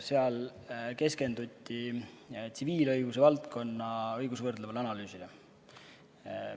Seal keskenduti tsiviilõiguse valdkonna õigusvõrdlevale analüüsile.